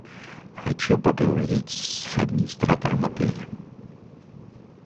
хочу поговорить с администратором отеля